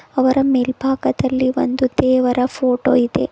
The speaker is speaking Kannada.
ಅವರ ಮೇಲ್ಭಾಗದಲ್ಲಿ ಒಂದು ದೇವರ ಫೋಟೋ ಇದೆ.